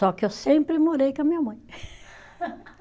Só que eu sempre morei com a minha mãe.